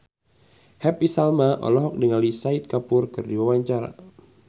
Happy Salma olohok ningali Shahid Kapoor keur diwawancara